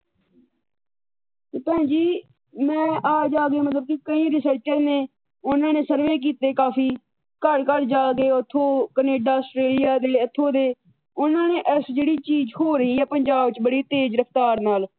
ਤੇ ਭੈਣ ਜੀ ਮੈਂ ਆ ਜਾ ਕੇ ਮਤਲਬ ਕਈ ਰਿਸਰਚਰ ਨੇ ਉਹਨਾਂ ਨੇ ਸਰਵੇ ਕੀਤੇ ਕਾਫੀ ਘਰ ਘਰ ਜਾ ਕੇ ਉਥੋਂ ਕਨੈਡਾ, ਆਸਟ੍ਰੇਲੀਆ ਇਥੋਂ ਦੇ । ਉਹਨਾਂ ਨੇ ਇਸ ਜਿਹੜੀ ਚੀਜ ਹੋ ਰਹੀ ਆ ਪੰਜਾਬ ਚ ਬੜੀ ਤੇਜ ਰਫਤਾਰ ਨਾਲ